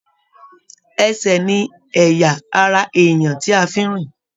Ẹsẹ ní ẹyà ará èèyàn tí a fí n rìn.